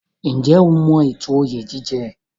Ǹjẹ́ o mọ ètò oyè jíjẹ?